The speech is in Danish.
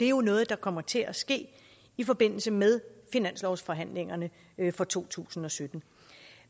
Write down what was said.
er noget der kommer til at ske i forbindelse med finanslovsforhandlingerne for to tusind og sytten